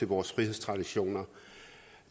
vores frihedstraditioner